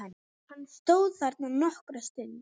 Hann stóð þarna nokkra stund.